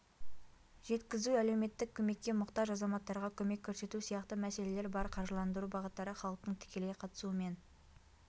жеткізу әлеуметтік көмекке мұқтаж азаматтарға көмек көрсету сияқты мәселелер бар қаржыландыру бағыттары халықтың тікелей қатысуымен